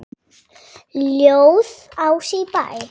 Ljóð: Ási í Bæ